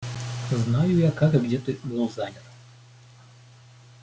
знаю я как и где ты был занят